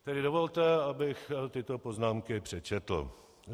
Tedy dovolte, abych tyto poznámky přečetl.